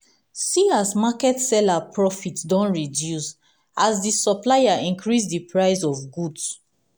see as market seller profit don reduce as di supplier increase di price of goods.